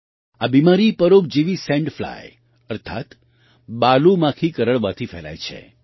આ બીમારી પરોપજીવી સેન્ડ ફ્લાય અર્થાત્ બાલુ માખી કરડવાથી ફેલાય છે